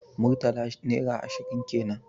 Murtala naira ashirin kenan